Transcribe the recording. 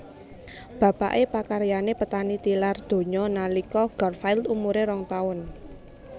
Bapaké pakaryané petani tilar donya nalika Garfield umuré rong taun